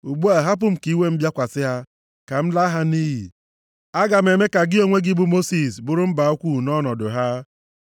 Ugbu a, hapụ m ka iwe m bịakwasị ha, ka m laa ha nʼiyi. Aga m eme ka gị onwe gị bụ Mosis bụrụ mba ukwu nʼọnọdụ ha.”